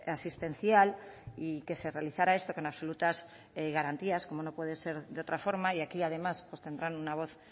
asistencial y que se realizara esto con absolutas garantías como no puede ser de otra forma y aquí además tendrán una voz